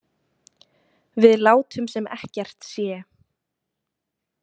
Við látum sem ekkert sé.